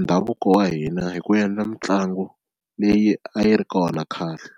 ndhavuko wa hina hi ku endla mitlangu leyi a yi ri kona khale.